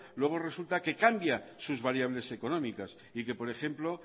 luego resulta que cambia sus variables económicas y que por ejemplo